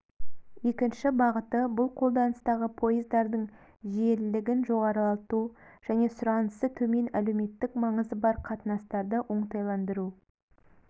екінші бағыты бұл қолданыстағы поездардың жиелілігін жоғарылату және сұранысы төмен әлеуметтік маңызы бар қатынастарды оңтайландыру